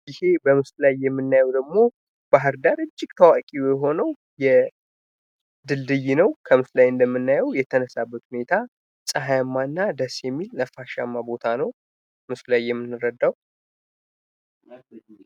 ይህ በምስሉ ላይ የሚታየው ደሞ ባህርዳር እጅግ ታዋቂ የሆነው ድልድይ ነው ከምስሉ ላይ እንደምንረዳው የተነሳበት ሁነታ ጸሃያማ እና ነፋሻማ የሆነ ቦታ ነው።